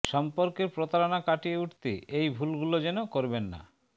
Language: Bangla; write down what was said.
সম্পর্কে প্রতারণা কাটিয়ে উঠতে এই ভুলগুলো যেন করবেন না